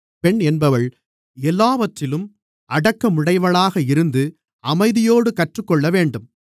பெண் என்பவள் எல்லாவற்றிலும் அடக்கமுடையவளாக இருந்து அமைதியோடு கற்றுக்கொள்ளவேண்டும்